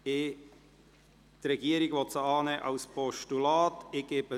Die Regierung will diesen Vorstoss als Postulat annehmen.